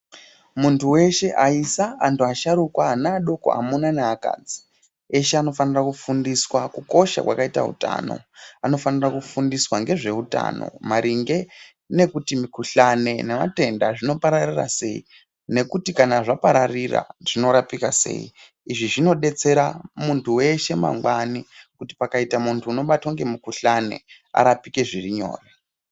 Munthu weshe, aisa, anthu asharukwa , ana adoko, amuna neakadzi eshe anofanira kufundiswa kukosha kwakaita uthano. Anofanira kufundiswa ngezve uthano maringe nekuthi mukhuhlani nevatenda zvinopararira sei nekuti kana zvapararira zvinorapika sei. Izvi zvinodetsera munthu weshe mangwani kuti pakaita munthu unobatwa ngemukhuhlani arapike zviri nyore.